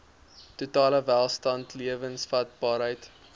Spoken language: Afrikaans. totale welstand lewensvatbaarheid